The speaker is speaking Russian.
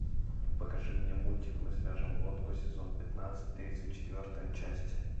покажи мне мультик мы свяжем лодку сезон пятнадцать тридцать четвертая часть